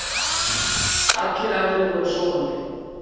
Allir aðrir voru sofandi.